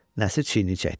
Nəsir çiynini çəkdi.